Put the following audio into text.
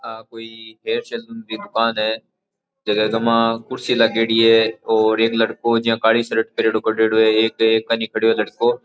आ कोई hair saloon री दुकान है जीके मा कुर्सी लागेडी है और एक लड़को जो काली शर्ट पेहेरेडो खड़यो है एक एकानी खड्यो है लड़को।